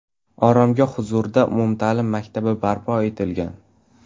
Oromgoh huzurida umumta’lim maktabi barpo etilgan.